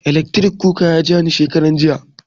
Eletris kuka nan ya ja ni shekarar jiya